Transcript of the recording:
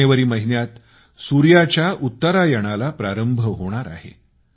जानेवारी महिन्यात सूर्याच्या उत्तरायणाला प्रारंभ होणार आहे